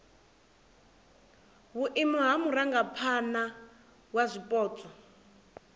vhuimo ha murangaphana wa zwipotso